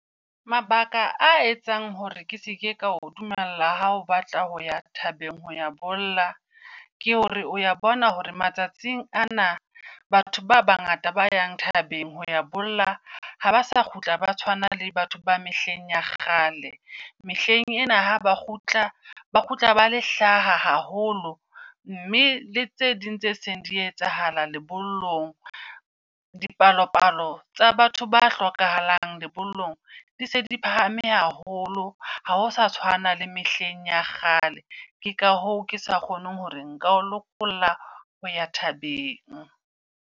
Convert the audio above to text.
Mabaka a etsang hore ke seke ka o dumella ha o batla ho ya thabeng ho ya bolla. Ke hore o ya bona hore matsatsing ana batho ba bangata ba yang tabeng ho ya bolla ha ba sa kgutla ba tshwana le batho ba mehleng ya kgale. Mehleng ena ha ba kgutla ba kgutla ba le hlaha haholo mme le tse ding tse seng di etsahala lebollong. Dipalopalo tsa batho ba hlokahalang lebollong di se di phahame haholo ha ho sa tshwana le mehleng ya kgale. Ke ka hoo ke sa kgoneng hore nka o lokolla ho ya thabeng.